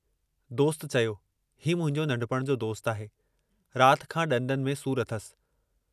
दोस्त चयो, हीउ मुंहिंजो नंढपुणि जो दोस्तु आहे, रात खां ॾंदनि में सूर अथसि।